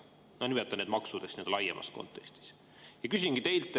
Nimetan neid maksudeks, laiemas kontekstis.